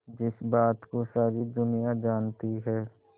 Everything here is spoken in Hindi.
जिस बात को सारी दुनिया जानती है